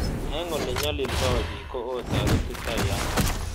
Eng' olenyalildo piik ko itoretitai ano